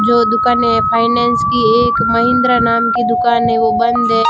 जो दुकान है फाइनेंस की एक महिंद्रा नाम की दुकान है वो बंद है।